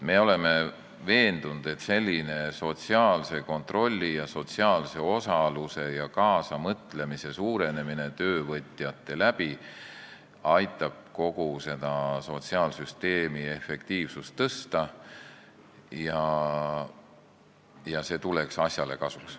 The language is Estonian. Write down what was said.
Me oleme veendunud, et selline sotsiaalse kontrolli, sotsiaalse osaluse ja kaasamõtlemise suurenemine töövõtjate abil aitab kogu sotsiaalsüsteemi efektiivsust tõsta ja see tuleks asjale kasuks.